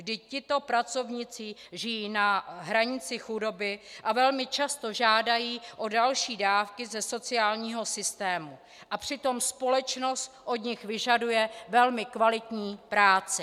Vždyť tito pracovníci žijí na hranici chudoby a velmi často žádají o další dávky ze sociálního systému, a přitom společnost od nich vyžaduje velmi kvalitní práci.